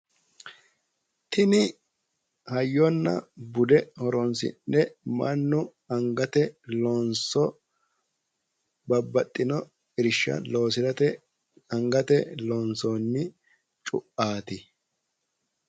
Tini hayyonna bude horonsi'ne mannu angate loonso babbaxino irsha loosate angate loonsoonni cuaati.